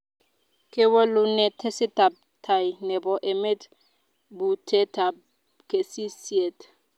kiwolune tesetabtai nebo emet butetab kesisiet